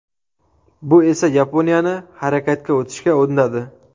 Bu esa Yaponiyani harakatga o‘tishga undadi.